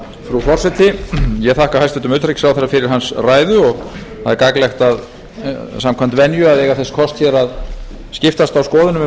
frú forseti ég þakka hæstvirtum utanríkisráðherra fyrir hans ræðu og það er gagnlegt samkvæmt venju að eiga þess kost hér skiptast á skoðunum um